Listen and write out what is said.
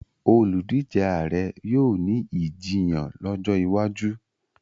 oludije Ààrẹ yóò ní Ìjiyàn lójó wájú.